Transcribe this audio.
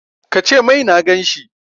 Ka ce mai na gan shi!